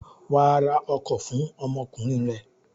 Wà á ra ọkọ̀ fún ọmọkùnrin rẹ!